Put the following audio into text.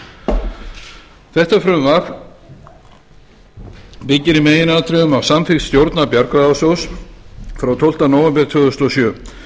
sveitarfélögin þetta frumvarp byggir í meginatriðum á samþykkt stjórnar bjargráðasjóðs frá tólfta nóvember tvö þúsund og sjö